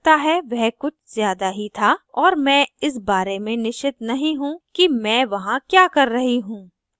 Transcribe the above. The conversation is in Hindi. मुझे लगता है वह कुछ ज़्यादा ही था और मैं इस बारे में निश्चित नहीं हूँ कि मैं वहाँ क्या कर रही हूँ